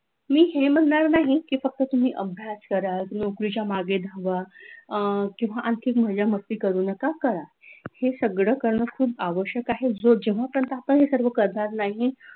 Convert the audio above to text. मी म्हणणार नाही की फक्त तुम्ही अभ्यास करा नोकरीचा मागे धावा, अ किंवा आर्थिक मजा मस्ती करू नका करा हे सगळं करणं खूप आवश्यक आहे, जेव्हा पर्यंत आपण हे सर्व करणार नाही,